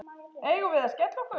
Eigum við að skella okkur?